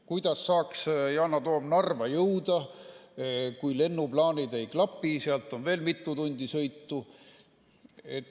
Kuidas saaks Yana Toom Narva jõuda, kui lennuplaanid ei klapi, sealt on veel mitu tundi sõitu?